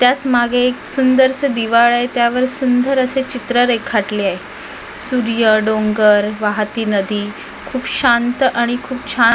त्याच मागे एक सुंदरसे दिवार आहे त्यावर सुंदर असे चित्र रेखाटले आहे सूर्य डोंगर वाहती नदी खूप शांत आणि खूप छान --